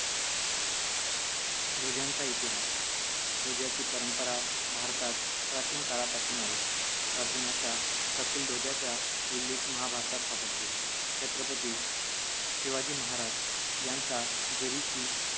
ध्वजांचा इतिहास ध्वजाची परंपरा भारतात प्राचीन काळापासून आहे अर्जुनाच्या कपिल ध्वजाच्या उल्लेख महाभारत सापडतो छत्रपती शिवाजी महाराज यांचा जरीची